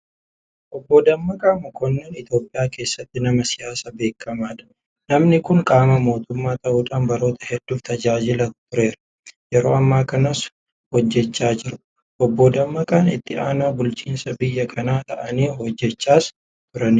Obboon Dammaqaa Mokonnin Itoophiyaa keessatti nama siyaasaa beekamaadha Namni kun qaama mootummaa ta'uudhaan baroota hedduudhaaf tajaajilaa tureera. Yeroo ammaa kanas hojjechaa jira. Obboon Dammaqaa itti aanaa bulchaa biyya kanaa ta'anii hojjechaas turaniiru.